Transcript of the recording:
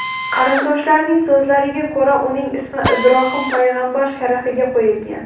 Qarindoshlarining so‘zlariga ko‘ra, uning ismi Ibrohim payg‘ambar sharafiga qo‘yilgan.